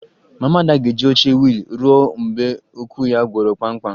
Mama Ada ga-eji oche wiil ruo mgbe ụkwụ ya gwọrọ kpamkpam